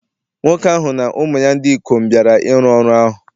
Nwoke ahụ na ụmụ ya ndị ikom bịara ịrụ ọrụ ahụ